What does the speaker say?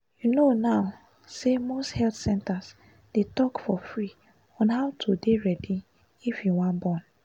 you know now say most health centers dey talk for free on how to dey ready if you wan born